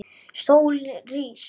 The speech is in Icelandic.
Sólin rís.